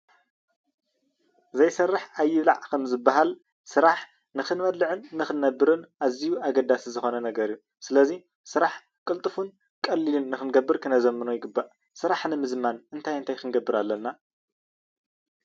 ስራሕ ዘይሰርሕ ኣይብላዕ ከም ዝበሃል ስራሕ ንኽትነብር ግድን ክትሰርሕ ኣለካ ስለዚ ክዝምን ከዓ አለዎ።